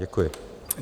Děkuji.